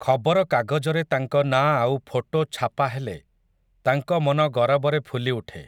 ଖବର କାଗଜରେ ତାଙ୍କ ନାଁ ଆଉ ଫୋଟୋ ଛାପା ହେଲେ, ତାଙ୍କ ମନ ଗରବରେ ଫୁଲିଉଠେ ।